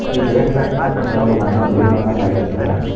ಈ ಬೇಸ್ಮೆಂಟ್ನ ಕಟ್ಟಡದ ಬಣ್ಣ ಬಿಳಿ ಬಣ್ಣದ್ದಾಗಿರುತ್ತದೆ.